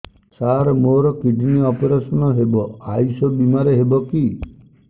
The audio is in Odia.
ସାର ମୋର କିଡ଼ନୀ ଅପେରସନ ହେବ ଆୟୁଷ ବିମାରେ ହେବ କି